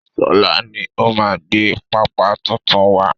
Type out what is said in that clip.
Sọlá ni ó máa gbé pépà tuntun wá.